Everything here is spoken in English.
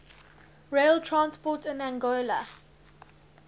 rail transport in angola